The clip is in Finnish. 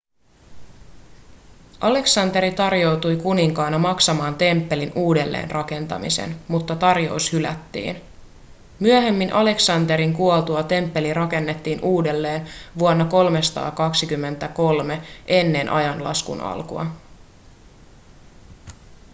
aleksanteri tarjoutui kuninkaana maksamaan temppelin uudelleenrakentamisen mutta tarjous hylättiin myöhemmin aleksanterin kuoltua temppeli rakennettiin uudelleen vuonna 323 eaa